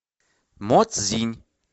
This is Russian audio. моцзинь